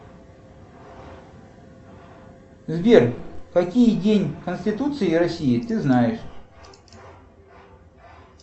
сбер какие день конституции россии ты знаешь